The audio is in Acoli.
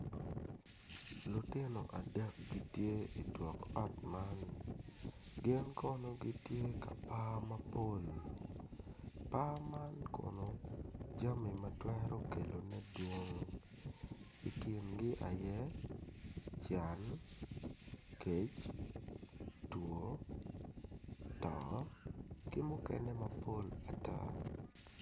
Lutino adek gitye i tuk ot man gin kono gitye ka par mapol, par man kono jami matwero kelone madwong i kin gi aye can kec two too ki mukene mapol ata.